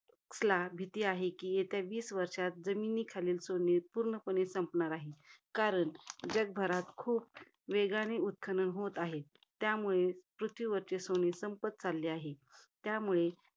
Sachs ला भीती कि येत्या वीस वर्षांमध्ये, जमिनीखालील सोने पूर्णपणे संपणार आहे. कारण, जगभरात खूप वेगाने उत्खनन होत आहे. त्यामुळे पृथ्वीवरचे सोने संपत चालले आहे. त्यामुळे